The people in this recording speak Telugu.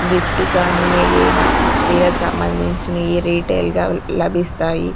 గిఫ్ట్ కానీ ఏయైనా స్త్రీలకు సంబంధించినయి రిటైల్ గా లభిస్తాయి.